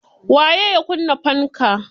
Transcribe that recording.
Waye ya kunna fanka?